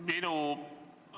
Aitäh, hea juhataja!